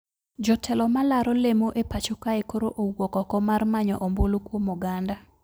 Jotelo malaro lemo e pacho kae koro owuok oko mar manyo ombulu kwom oganda